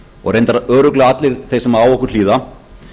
og reyndar örugglega allir þeir sem á okkur hlýða